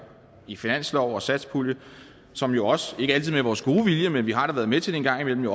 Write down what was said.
i finanslov og satspulje som jo også ikke altid med vores gode vilje men vi har da været med til det en gang imellem